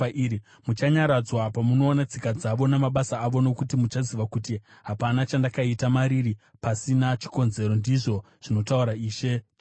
Muchanyaradzwa pamunoona tsika dzavo namabasa avo, nokuti muchaziva kuti hapana chandakaita mariri pasina chikonzero, ndizvo zvinotaura Ishe Jehovha.”